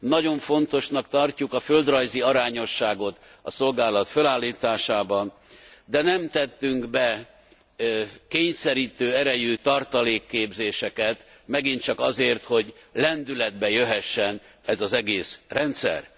Nagyon fontosnak tartjuk a földrajzi arányosságot a szolgálat fölállításában, de nem tettünk be kényszerítő erejű tartalékképzéseket, megint csak azért, hogy lendületbe jöhessen ez az egész rendszer.